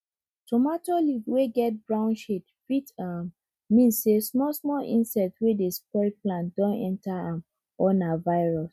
tomato leaf wey get brown shade fit um mean say small small insect wey dey spoil plant don enter am or na virus